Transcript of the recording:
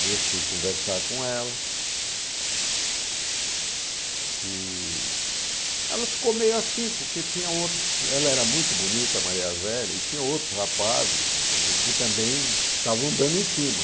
Aí eu fui conversar com ela e ela ficou meio assim, porque tinha outros, ela era muito bonita, Maria Azélia, e tinha outros rapazes que também estavam andando em cima.